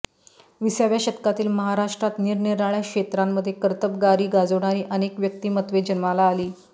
विसाव्या शतकातील महाराष्ट्रात निरनिराळ्य़ा क्षेत्रांमध्ये कर्तबगारी गाजवणारी अनेक व्यक्तिमत्त्वे जन्माला आली